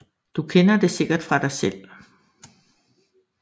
Du kender det sikkert fra dig selv